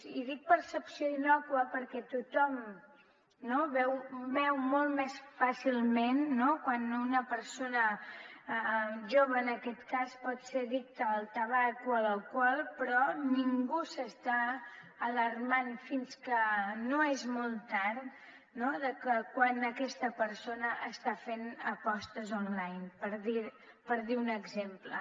i dic percepció innòcua perquè tothom veu molt més fàcilment quan una persona jove en aquest cas pot ser addicta al tabac o a l’alcohol però ningú s’està alarmant fins que no és molt tard de quan aquesta persona està fent apostes online per dir un exemple